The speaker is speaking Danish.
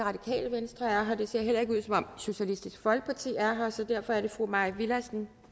venstre er her det ser heller ikke ud som om socialistisk folkeparti er her så derfor er det fru mai villadsen